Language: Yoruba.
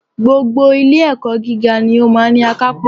Gbogbo ilé ẹ̀kọ́ gíga ni ó máa ní akápò